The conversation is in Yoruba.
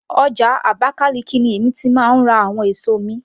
Ọjà Abakaliki ni èmi ti máa ń ra àwọn èso mi